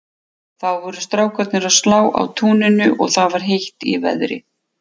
Þá voru strákarnir að slá á túninu og það var heitt í veðri.